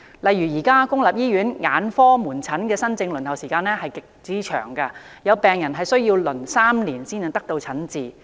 例如，現時公立醫院眼科門診新症的輪候時間極長，有病人需輪候3年才獲診治。